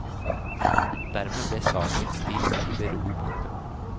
Dermed ble saken stilt i bero. punktum